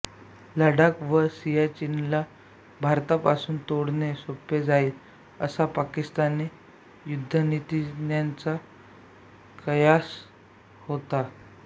लडाख व सियाचीनला भारतापासून तोडणे सोपे जाईल असा पाकिस्तानी युद्धनीतिज्ञांचा कयास होता